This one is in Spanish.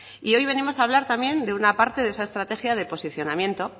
hoy venimos a hablar también de una parte de esa estrategia de posicionamiento